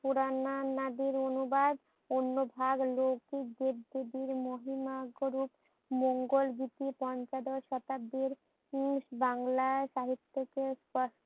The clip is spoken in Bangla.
পুরানা নাদের অনুবাদ অন্যভাগে লৌকিক দেবদেবীর মহিমা গরূপ মঙ্গোল পঞ্চদশ শতাব্দীর উম বাংলা সাহিত্যকে